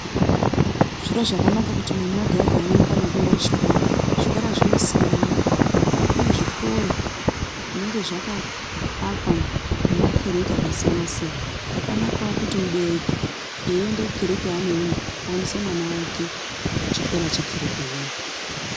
Zviro zvakanaka kuti mwana ega ega awone mukana wekuenda kuchikora. Zvikora zvinosiyana kune zvikoro zvinenge zvakaakwa ngemakereke akasiyana siyana. Zvakanakawo kuti mubereki eienda kukereke yaanoenda, aendese mwana wake kuchikora chekereke iyoyo.